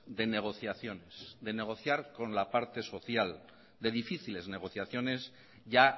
de negociaciones de negociar con la parte social de difíciles negociaciones ya